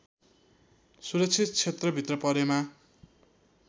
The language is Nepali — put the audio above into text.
सुरक्षित क्षेत्रभित्र परेमा